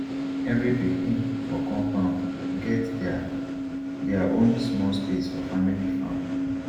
every pikin for compound get there there own small space for family farm